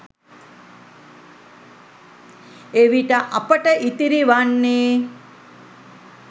එවිට අපට ඉතිරි වන්නේ